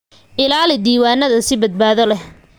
Ilaali diiwaanada si badbaado leh.